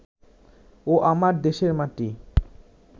ও আমার দেশের মাটি